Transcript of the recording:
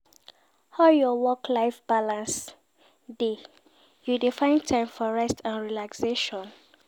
How your work-life balance dey, you dey find time for rest and relaxation?